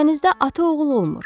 Dənizdə ata oğul olmur.